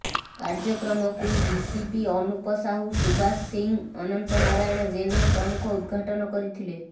କାର୍ଯ୍ୟକ୍ରମକୁ ଡିସିପି ଅନୁପ ସାହୁ ସୁବାସ ସିଂ ଅନନ୍ତ ନାରାୟଣ ଜେନା ପ୍ରମୁଖ ଉଦ୍ଘାଟନ କରିଥିଲେ